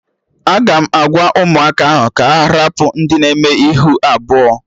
Aga m agwa ụmụaka ahụ ka ha rapụ ndị na eme ihu abụọ